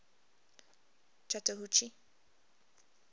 chattahoochee